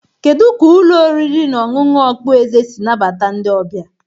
Kedu ka ụlọ oriri na ọṅụṅụ okpueze si nabata ndị ọbịa?